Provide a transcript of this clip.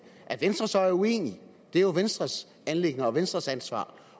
at venstre så er uenig er jo venstres anliggende og venstres ansvar og